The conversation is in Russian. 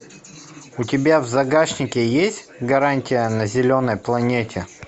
у тебя в загашнике есть гарантия на зеленой планете